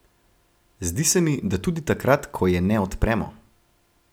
Zdi se mi, da tudi takrat, ko je ne odpremo.